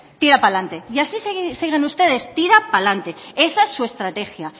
tira pa alante y así siguen ustedes tirá pa alante esa es su estrategia